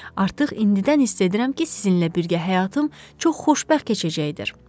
Artıq indidən hiss edirəm ki, sizinlə birgə həyatım çox xoşbəxt keçəcəkdir.